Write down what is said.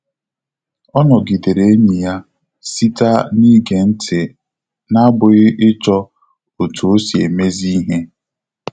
Ọ nọgidere enyi ya sita na ige ya ntị na abụghị ịchọ otu osi emezi ihe